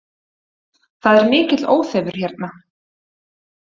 Það er mikill óþefur hérna